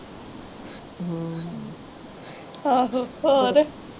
ਆਹੋ ਹੋਰ।